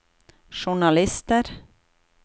journalister